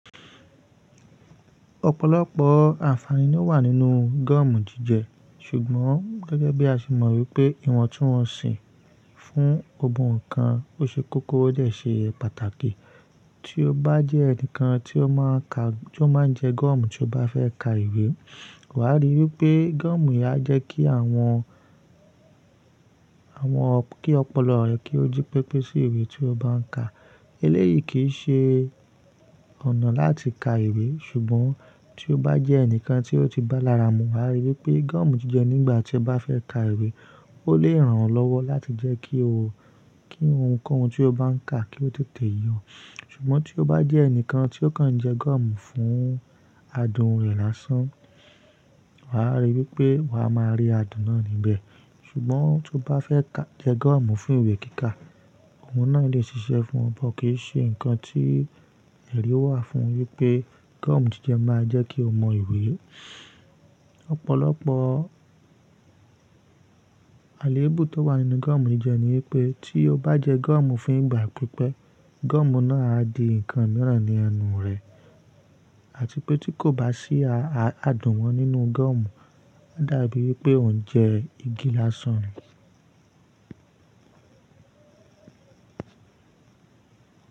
Ọ̀pọ̀lọpọ̀ àǹfààní ló wà nínú gọ́ọ̀mù jíjẹ ṣùgbọ́n gẹ́gẹ́ bí a ṣe mọ wípé ìwọ̀n tí wọ́n si fún gbogboo nkan ó ṣe kókó ó dẹ ṣe é pàtàkì. Tí o bá jẹ́ ẹnìkan tí o máa ń ka-- tí o máa ń jẹ gọ́ọ̀mù tí o bá fẹ́ ka ìwé, wàá rí i wípé gọ́ọ̀mù yí á jẹ́ kí àwọn, àwọn kí ọpọlọ rẹ kí ó jí pépé sí ìwé tí o bá ń ka. Eléyìí kì í ṣe ọ̀nà láti ka ìwé ṣùgbọ́n tí o bá jẹ́ ẹnìkan tí o ti bá lára mú, wà á rí i wípé gọ́ọ̀mù jíjẹ nígbà tí o bá fẹ́ ka ìwé, ó lè ràn ọ́ lọ́wọ́ láti jẹ́ kí o, kí ohunkóhun tí o bá ń ka kí ó tètè ye ọ. Ṣùgbọ́n tí o bá jẹ́ ẹnìkan tí o kan ń jẹ gọ́ọ̀mù fún adùn rẹ̀ lásán, wà á rí i wípé wà á máa rí adùn náà níbẹ̀. Ṣùgbọ́n tí o bá fẹ́ jẹ gọ́ọ̀mù fún ìwé kíkà, ohun náà lè ṣiṣẹ́ fún ọ but kí í ṣe nǹkan tí ẹ̀rí wà fún wipé gọ́ọ̀mù jíjẹ máa jẹ́ kí o mọ ìwé. Ọ̀pọ̀lọpọ̀ àléébù tó wà nínú gọ́ọ̀mù jíjẹ ni wípé tí o bá jẹ gọ́ọ̀mù fún ìgbà pípẹ́, gọ́ọ̀mù náà á di nǹkan mìíràn ní ẹnu rẹ àti pé tí kò bá sí a-a-adùn mọ nínú gọ́ọ̀mù, ó dàbí pé ò ń jẹ igi lásán ni.